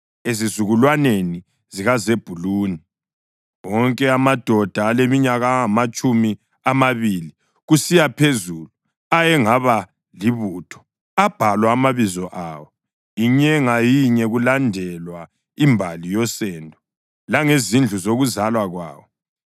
Ezizukulwaneni zikaZebhuluni: Wonke amadoda aleminyaka engamatshumi amabili kusiya phezulu ayengaba libutho abhalwa amabizo awo, inye ngayinye, kulandelwa imbali yosendo langezindlu zokuzalwa kwawo.